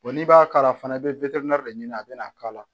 n'i b'a kala fana i bɛ de ɲini a bɛna k'a la